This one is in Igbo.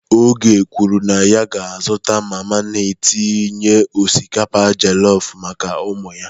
Oge kwuru na ya ga-azụta mama na-etinye osikapa jollof maka ụmụ ya.